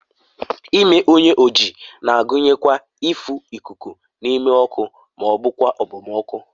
ime onye oji na-agụnyekwa ịfụ ikuku n'ime ọkụ ma ọ bụ okpomọkụ